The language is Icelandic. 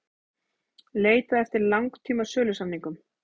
Leitað eftir langtíma sölusamningum